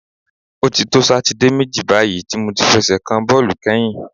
O ti to Sátidé méjì báyìí tí mo ti fẹsẹ̀ kan bọ́ọ̀lù kányìn.